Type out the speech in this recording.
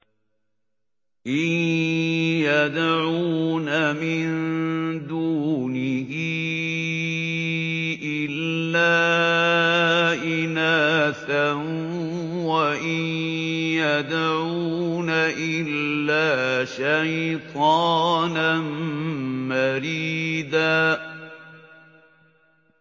إِن يَدْعُونَ مِن دُونِهِ إِلَّا إِنَاثًا وَإِن يَدْعُونَ إِلَّا شَيْطَانًا مَّرِيدًا